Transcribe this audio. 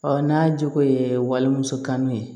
n'a jogo ye walimuso kan ye